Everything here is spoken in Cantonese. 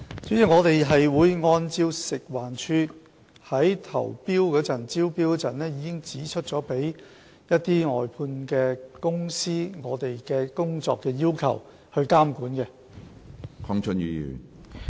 主席，我們會按照食環署在招標時已訂明的對外判公司的工作要求，加以監管。